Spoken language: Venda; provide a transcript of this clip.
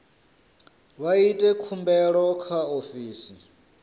vha ite khumbelo kha ofisi